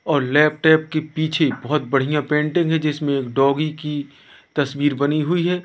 और लैपटॉप कि पीछे बहोत बढ़िया पेंटिंग है जिसमें एक डॉगी की तस्वीर बनी हुई है।